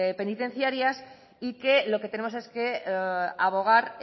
penitenciarias y que lo que tenemos es que abogar